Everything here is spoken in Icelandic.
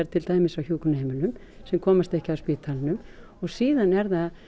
til dæmis á hjúkrunarheimilum sem komast ekki af spítalanum og síðan er það